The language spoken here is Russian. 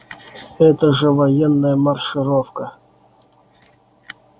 это же военная маршировка